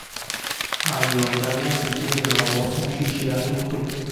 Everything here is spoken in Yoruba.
a yọ̀nda láti jẹ́ ìrànwọ́ fún ṣíṣe àtúntò